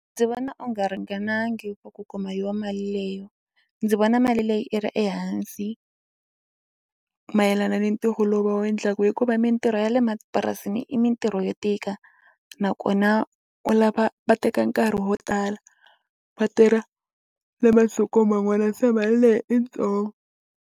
Ndzi vona u nga ringanangi for ku kuma yo mali leyo ndzi vona mali leyi i ri ehansi mayelana ni ntirho lowu va wu endlaka hikuva mitirho ya le mapurasini i mitirho yo tika nakona u lava a teka nkarhi wo tala va tirha na masiku man'wana se mali leyi i ntsongo.